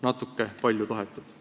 Natuke palju tahetud.